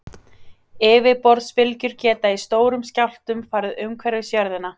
Yfirborðsbylgjur geta í stórum skjálftum farið umhverfis jörðina.